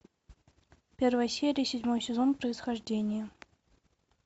первая серия седьмой сезон происхождение